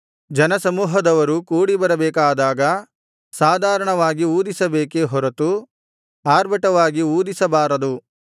ಜನಸಮೂಹದವರು ಕೂಡಿಬರಬೇಕಾದಾಗ ಸಾಧಾರಣವಾಗಿ ಊದಿಸಬೇಕೇ ಹೊರತು ಆರ್ಭಟವಾಗಿ ಊದಿಸಬಾರದು